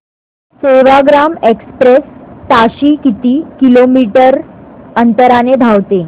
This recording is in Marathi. सेवाग्राम एक्सप्रेस ताशी किती किलोमीटर अंतराने धावते